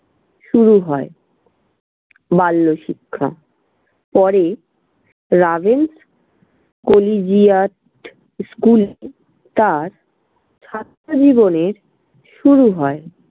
শুরু হয় বাল্যশিক্ষা, পরে রাভেনশ কলিজিয়াট school এ তার ছাত্রজীবনের শুরু হয়।